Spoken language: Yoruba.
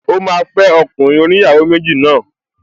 Ó máa fẹ́ ọkùnrin oníyàwó méjì náà